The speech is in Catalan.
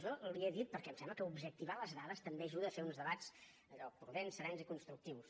jo li ho he dit perquè em sembla que objectivar les dades també ajuda a fer uns debats allò prudents serens i constructius